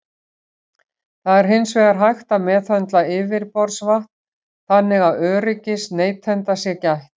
Það er hins vegar hægt að meðhöndla yfirborðsvatn þannig að öryggis neytenda sé gætt.